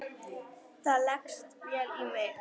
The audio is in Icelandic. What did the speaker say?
Það leggst vel í mig.